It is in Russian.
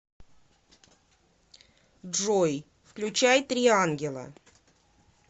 джой включай три ангела